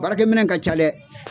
Baarakɛ minɛn ka ca dɛ.